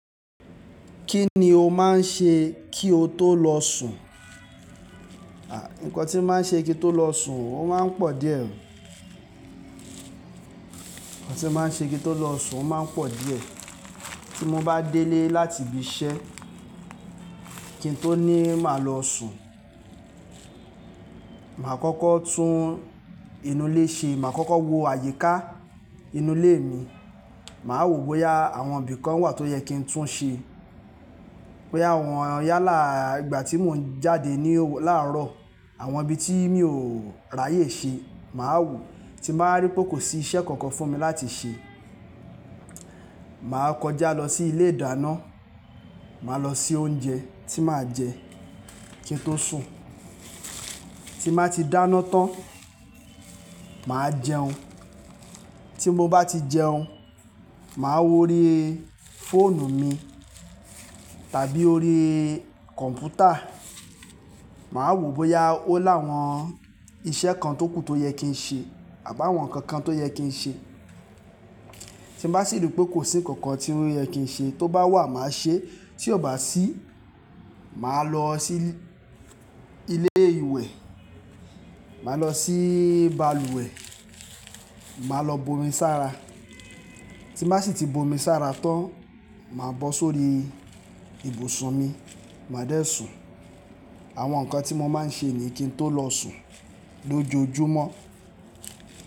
Kí ni o máa ń ṣe kí o tó lọ sùn? À, ǹkan tí mo máa ń ṣe kí n tó lọ sùn, ó máa ń pọ̀ díẹ̀. Ohun tí mo máa ń ṣe kí n tó lọ sùn, ó máa ń pọ̀ díẹ̀. Tí mo bá délé láti ibi iṣẹ́, kí n tó ní máa lọ sùn, màá kọ́kọ́ tún inú ilé ṣe. Màá kọ́kọ́ wo àyíká inú ilé mi. Màá wò bóyá àwọn ibì kan wà tó yẹ kí n tún ṣe. Bòyá àwọn yálà ìgbà tí mò ń jáde ní làárọ̀, àwọn ibi tí mi ò ráyè ṣe, màá wò. Tí màá rí pé kò sí iṣẹ́ kankan fún mi láti ṣe, màá kọjá lọ sí ilé ìdáná, màá lọ se oúnjẹ tí màá jẹ kí n tó sùn. Tí màá ti dáná tán, màá jẹun. Tí mo bá ti jẹun, màá wó ori fóònù mi tàbí orí kọ̀ǹpútà. Màá wò bóyá ó láwọn iṣẹ́ kan tókù tó yẹ kí n ṣe àbí àwọn nǹkan kan tó yẹ kí n ṣe. Tí mo bá sì rí pé kò sí kankan tí ó yẹ kí n ṣe, tó bá wà màá ṣe, tí ò bá sí, màá lọ sí ilé ìwẹ̀, màá lọ sí balùwẹ̀, màá lọ bomi sára. Tí mbá sì ti bomi sára tán, màá bọ́ sórí ibùsùn mi, màá dẹ́ sùn. Àwọn nǹkan tí mo máa ń ṣe niyí kí n tó lọ sùn lójoojúmọ́.